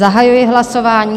Zahajuji hlasování.